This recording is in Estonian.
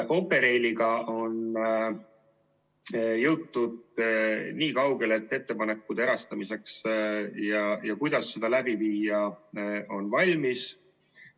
Operailiga on jõutud nii kaugele, et ettepanekud erastamiseks ja selleks, kuidas seda läbi viia, on valmis.